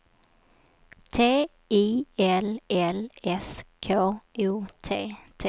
T I L L S K O T T